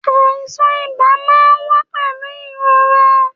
Àìsàn ibà máa ń wá pẹ̀lú ìrora